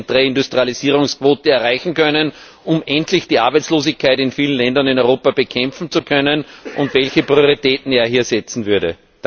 Reindustrialisierungsquote von 30 erreichen können, um endlich die Arbeitslosigkeit in vielen Ländern in Europa bekämpfen zu können, und welche Prioritäten er hier setzen würde.